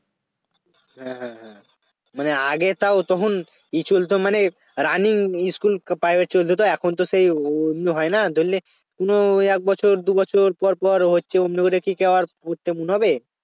হ্যাঁ হ্যাঁ হ্যাঁ মানে আগে তাও তখন School তো মানে running school private চলত তো এখন তো সেই অমনি হয় না ধরলে কোন একবছর দুবছর পর পর হচ্ছে অমনি করে কি কেউ আর পড়তে মন হবে